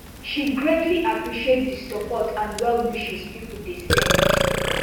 she greatly appreciate di support and well wishes pipo dey send